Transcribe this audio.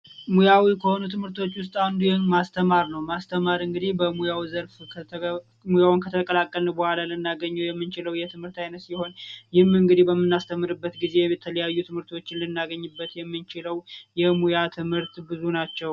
ሙያዊ ከሆኑ ትምህርቶች ውስጥ አንዱ ማስተማር ነው ፤ ማስተማር እንግዲህ ሙያውን ከተቀላቀልን በኋላ ልናገኘው የምንችለው የትምህርት ዓይነት ሲሆን ይህ በምናስተምርበት ጊዜ የተለያዩ ትምህርቶችን ልናገኝበት የምንችለው የሙያ ትምህርት ብዙ ናቸው።